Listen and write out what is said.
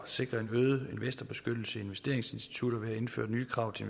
sikre en øget investorbeskyttelse i investeringsinstitutter ved at indføre nye krav til